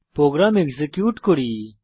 programme execute করি